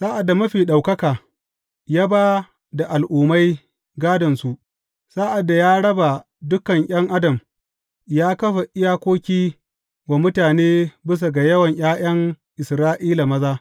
Sa’ad da Mafi Ɗaukaka ya ba da al’ummai gādonsu, sa’ad da ya raba dukan ’yan adam, ya kafa iyakoki wa mutane bisa ga yawan ’ya’yan Isra’ila maza.